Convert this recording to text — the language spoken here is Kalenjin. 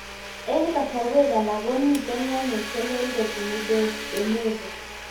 Eng'kasarwek alak ko mito mionwek che lel kopun de novo